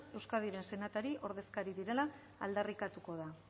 euskadiren senatari ordezkari direla aldarrikatuko da